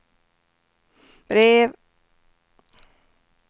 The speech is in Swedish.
brev